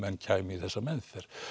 kæmi í þessa meðferð